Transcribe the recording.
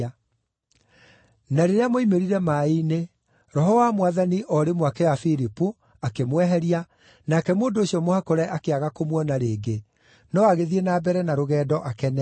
Na rĩrĩa moimĩrire maaĩ-inĩ, Roho wa Mwathani o rĩmwe akĩoya Filipu, akĩmweheria, nake mũndũ ũcio mũhakũre akĩaga kũmuona rĩngĩ, no agĩthiĩ na mbere na rũgendo akenete.